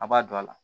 A b'a don a la